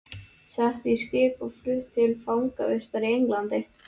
Sett í skip og flutt til fangavistar í Englandi!